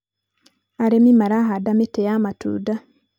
arĩmi marahanda mĩtĩ ya matunda.